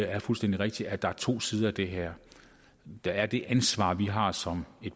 er fuldstændig rigtigt at der er to sider af det her der er det ansvar som vi har som